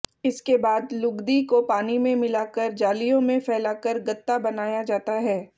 इसके बाद लुगदी को पानी में मिलाकर जालियों में फैलाकर गत्ता बनाया जाता है